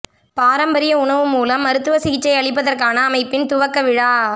பாரம்பரிய உணவு மூலம் மருத்துவ சிகிச்சை அளிப்பதற்கான அமைப்பின் துவக்க விழா